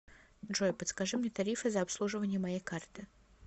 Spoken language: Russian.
джой подскажи мне тарифы за обслуживание моей карты